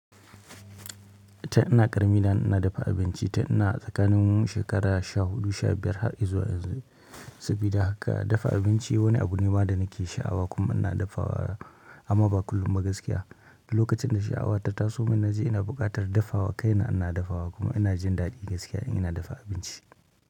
Tin ina karami da in ina dafa abinci tin ina tsakanin shekara sha hudu sha biyar har izuwa yanzu sabida haka dafa abinci wani abu ne ma da nake shaawa kuma ina dafawa amma ba kullum ba gaskiya. Lokacin da sha'awata ta taso min na je ina buƙatar dafawa kaina ina dafawa kuma ina jin daɗi gaskiya in ina dafa abinci.